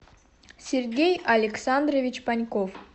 сергей александрович паньков